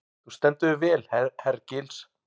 Þú stendur þig vel, Hergils!